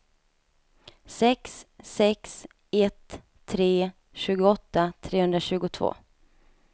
sex sex ett tre tjugoåtta trehundratjugotvå